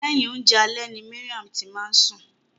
Lẹhin oúnjẹ alẹ́ ni Mariam ti máa ni sun.